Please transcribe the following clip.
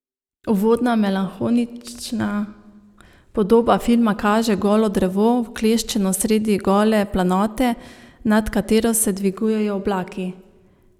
Uvodna melanholična podoba filma kaže golo drevo, vkleščeno sredi gole planote, nad katero se dvigujejo oblaki.